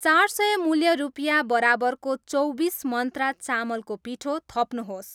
चार सय मूल्य रुपियाँ बराबरको चौबिस मन्त्रा चामलको पिठो थप्नुहोस्